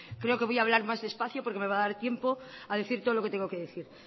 creo que voy a hablar más despacio porque me va a dar tiempo a decir todo lo que tengo que decir